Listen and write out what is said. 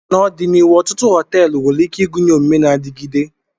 N'ọdịnihu, ọtụtụ họteelu nwere ike ịgụnye omume na-adigide.